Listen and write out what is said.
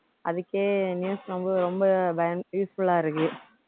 அதுக்கே news ரொம்ப ரொம்ப வேண்~ useful ஆ இருக்கு